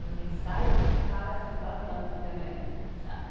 Nos ensaios, a gente ficava assim, babando de olhar ele dançar.